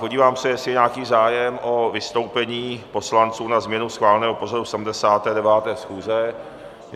Podívám se, jestli je nějaký zájem o vystoupení poslanců na změnu schváleného pořadu 79. schůze.